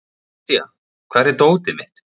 Asía, hvar er dótið mitt?